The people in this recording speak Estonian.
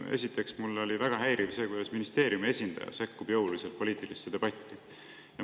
Esiteks, mind väga häiris, kuidas ministeeriumi esindaja sekkus jõuliselt poliitilisse debatti.